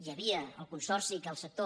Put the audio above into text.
hi havia el consorci que el sector